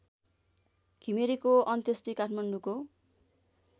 घिमिरेको अन्त्येष्टी काठमाडौँको